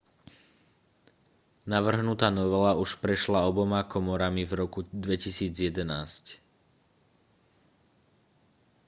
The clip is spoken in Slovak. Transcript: navrhnutá novela už prešla oboma komorami v roku 2011